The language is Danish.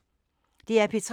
DR P3